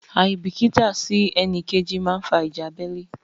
Àìbìítà sí ẹnìkejì máa fa ìjà abẹ́lé.